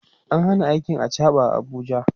an Hana aikin achaɓa a Abuja